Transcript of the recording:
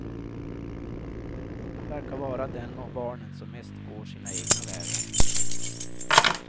Han verkar vara den av barnen som mest går sina egna vägar.